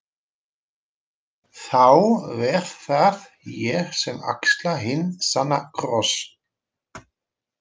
Þá verð það ég sem axla hinn sanna kross.